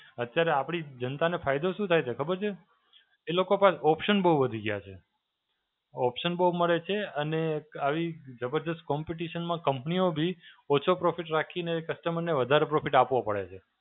અત્યારે આપડી જનતાને ફાયદો શું થાય છે? ખબર છે? એ લોકો પાસે option બહું વધી ગયા છે. option બહું મળે છે અને એક આવી જબરદસ્ત Competition માં company ઓ બી ઓછો profit રાખીને customer ને વધારે profit આપવો પડે છે.